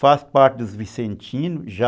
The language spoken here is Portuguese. Faço parte dos Vicentinos, já...